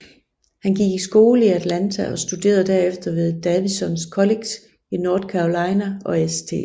Han gik i skole i Atlanta og studerede derefter ved Davidson College i North Carolina og St